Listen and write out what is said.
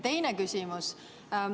Teine küsimus.